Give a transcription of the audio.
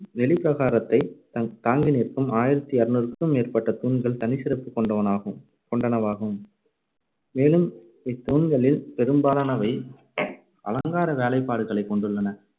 வெளிப்பிரகாரத்தைத் தங்~ தாங்கி நிற்கும் ஆயிரத்தி இருநூறுக்கும் மேற்பட்ட தூண்கள் தனி சிறப்பு கொண்டனவாகும் கொண்டனவாகும். மேலும் இத்தூண்களில் பெரும்பாலானவை அலங்கார வேலைப்பாடுகளைக் கொண்டுள்ளன.